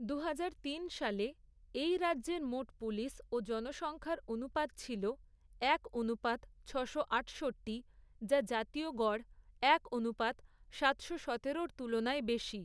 দুহাজার তিন সালে, এই রাজ্যের মোট পুলিশ ও জনসংখ্যার অনুপাত ছিল, এক অনুপাত ছশো আটষট্টি, যা জাতীয় গড়, এক অনুপাত সাতশো সতেরোর তুলনায় বেশি।